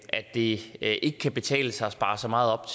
at det ikke kan betale sig at spare så meget op